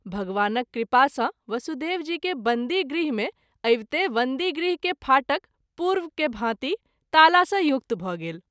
भगवानक कृपा सँ वसुदेव जी के बंदी गृह मे आविते बंदी गृह के फाटक पूर्व के भाँति ताला सँ युक्त भ’ गेल।